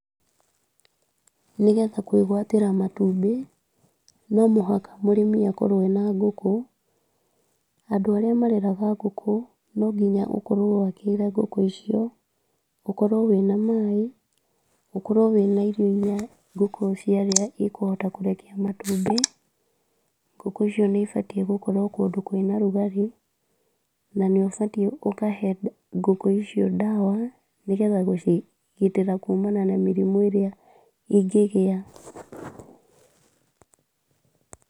Nĩgetha kwĩgwatĩra matumbĩ, no mũhaka mũrĩmi akorwo ena ngũkũ, andũ arĩa mareraga ngũkũ, no nginya ũkorwo wakĩire ngũkũ icio, ũkorwo wĩna maaĩ, ũkorwo wĩna irio irĩa ngũkũ cia rĩa cikũhota kũrekia matumbĩ, ngũkũ icio nĩ ibatiĩ gũkorwo kũndũ kwĩna rugarĩ, na nĩ ũbatiĩ ũkahe ngũkũ icio ndawa, nĩgetha gũcigitĩra kumana na mĩrimũ ĩrĩa ingĩgĩa.